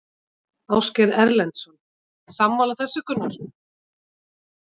Ásgeir Erlendsson: Sammála þessu Gunnar?